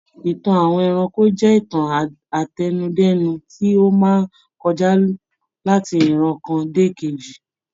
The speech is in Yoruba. Ìtàn àwọn ẹranko jẹ́ ìtàn àtẹnudẹ́nu tí ó máa ń kọjá láti ìran kan dé ìkejì.